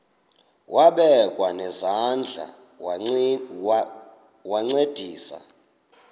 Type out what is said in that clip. wabekwa nezandls wancedisa